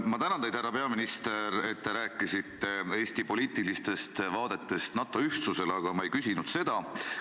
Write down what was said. Ma tänan teid, härra peaminister, et te rääkisite Eesti poliitilistest vaadetest NATO ühtsusele, aga ma ei küsinud seda.